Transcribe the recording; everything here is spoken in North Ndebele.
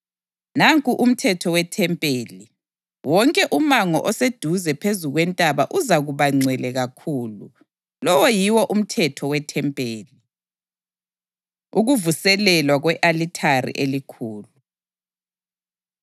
Nanku umthetho wethempeli: Wonke umango oseduze phezu kwentaba uzakuba ngcwele kakhulu. Lowo yiwo umthetho wethempeli.” Ukuvuselelwa Kwe-alithari Elikhulu